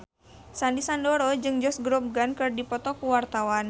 Sandy Sandoro jeung Josh Groban keur dipoto ku wartawan